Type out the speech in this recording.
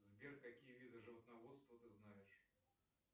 сбер какие виды животноводства ты знаешь